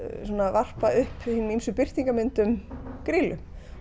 varpa upp ýmsum birtingarmyndum Grýlu